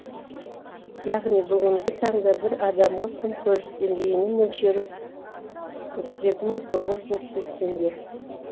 яғни бүгінгі таңда бір адамға күнкөріс деңгейінің мөлшері отыз екі мың тоғыз жүз отыз екі теңге